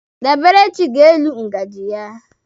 Daberechi ga-elu ngaji ya.